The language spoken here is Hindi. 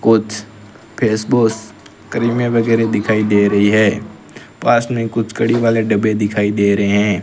कुछ फेशवाश क्रीमें वगैरे दिखाई दे रही हैं पास में कुछ कड़ी वाले डब्बे दिखाई दे रहे हैं।